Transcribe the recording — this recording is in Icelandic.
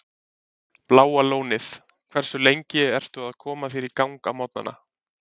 Bláa Lónið Hversu lengi ertu að koma þér í gang á morgnanna?